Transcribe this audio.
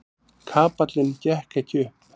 Kapallinn gekk ekki upp.